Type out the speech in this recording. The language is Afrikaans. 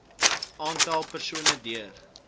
aantal persone duur